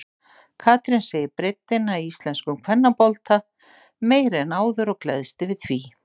Katrín segir breiddina í íslenskum kvennabolta meiri en áður og gleðst yfir því.